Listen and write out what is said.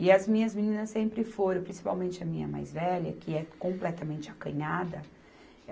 E as minhas meninas sempre foram, principalmente a minha mais velha, que é completamente acanhada.